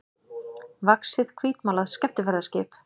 vaxið hvítmálað skemmtiferðaskip.